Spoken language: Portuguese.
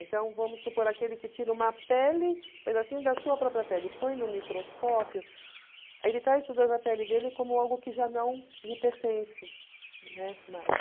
Então vamos supor aquele que tira uma pele, um pedacinho da sua própria pele, põe no microscópio, ele está estudando a pele dele como algo que já não lhe pertence, né, mais.